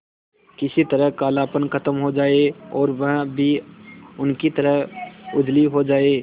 किसी तरह कालापन खत्म हो जाए और वह भी उनकी तरह उजली हो जाय